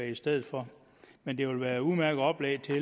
i stedet for men det vil være et udmærket oplæg til